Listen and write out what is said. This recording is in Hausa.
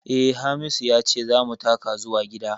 Eh, Hamisu ya ce za mu taka zuwa gida